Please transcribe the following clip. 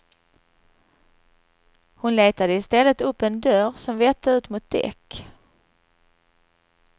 Hon letade istället upp en dörr som vette ut mot däck.